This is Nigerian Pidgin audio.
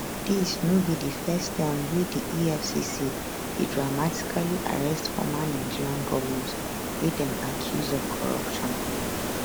dis no be di first time wey di efcc dey dramatically arrest former nigerian govnors wey dem accuse of corruption